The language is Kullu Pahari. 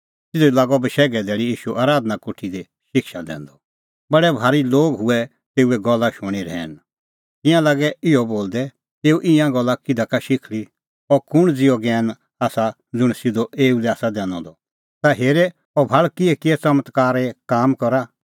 तिधी लागअ बशैघे धैल़ी ईशू आराधना कोठी दी शिक्षा दैंदअ बडै भारी लोग हुऐ तेऊए गल्ला शूणीं रहैन तिंयां लागै इहअ बोलदै एऊ ईंयां गल्ला किधा का शिखल़ी अह कुंण ज़िहअ ज्ञैन आसा ज़ुंण सिधअ एऊ लै आसा दैनअ द ता हेरे अह भाल़ किहैकिहै च़मत्कारे काम करा